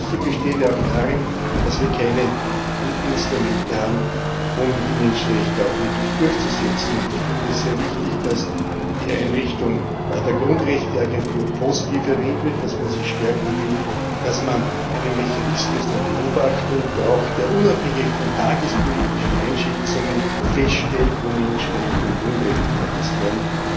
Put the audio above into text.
Die Schwäche besteht ja auch darin, dass wir keine guten Instrumente haben, um die Menschenrechte auch wirklich durchzusetzen. Ich finde es sehr wichtig, dass die Einrichtung der Grundrechte Agentur positiv erwähnt wird, dass man sie stärken will, dass man einen Mechanismus der Beobachtung braucht, der unabhängig von tagespolitischen Einschätzungen feststellt, wo Menschenrechte und Grundrechte verletzt werden.